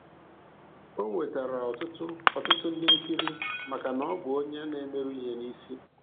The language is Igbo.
O nwetara ọtụtụ ọtụtụ ndị nkiri maka na ọ bụ onye na-emeru ihe n'isi.